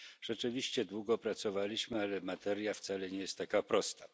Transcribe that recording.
Rzeczywiście długo pracowaliśmy, ale materia wcale nie jest taka prosta.